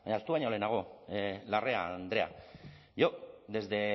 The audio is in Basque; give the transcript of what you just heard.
baina ahaztu baino lehenago larrea andrea yo desde